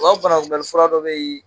u ka banakunbɛliura dɔ bɛyi.